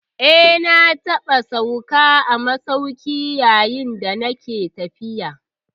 Eh, na taɓa sauka a masauki yayin da nake tafiya.